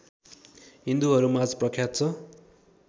हिन्दूहरूमाझ प्रख्यात छ